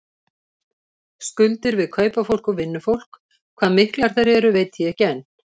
Skuldir við kaupafólk og vinnufólk, hvað miklar þær eru veit ég ekki enn.